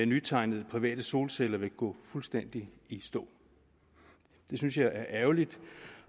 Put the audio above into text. nytegnede private solceller vil gå fuldstændig i stå det synes jeg er ærgerligt